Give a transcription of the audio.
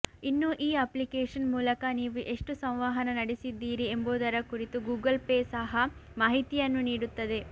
ಇನ್ನು ಈ ಅಪ್ಲಿಕೇಶನ್ ಮೂಲಕ ನೀವು ಎಷ್ಟು ಸಂವಹನ ನಡೆಸಿದ್ದೀರಿ ಎಂಬುದರ ಕುರಿತು ಗೂಗಲ್ ಪೇ ಸಹ ಮಾಹಿತಿಯನ್ನು ನೀಡುತ್ತದೆ